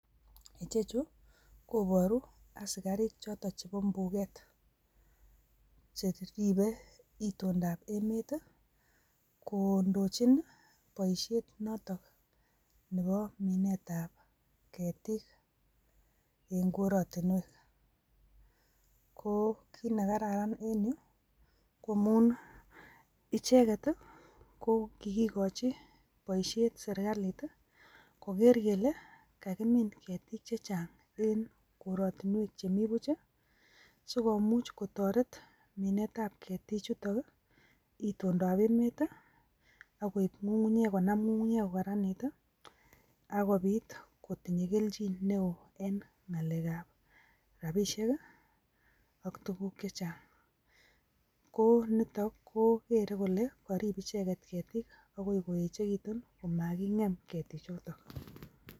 Ichechuu koboruu asikarik choton chebo mbuget cheribe itondap emet tii kondochi nii boishet noton nebo minet ab ketik en korotinwek, ko kit nekararan en yuu ko icheket ko kiikochi boishet sirkali tii koker kele kakimin ketik che chang en korotinwek che mii buch chii sikomuch kotoret minet ab ketik chutok itondap emet tii ak koib konam ngungunyek kokaranit tii ak kobit kotinye keljin neo en ngalek ab rabishek kii ak tukuk che chang, ko niton kokere kole korib icheket ketik akoi koyechekitun komakingem ketik choton.